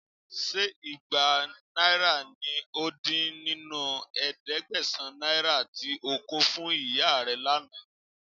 Ṣé igba náírà ní ó dín nínú ẹ̀ẹ́dẹ́gbẹ̀sán náírà tí ó kò fún ìyá rẹ̀ lánàá?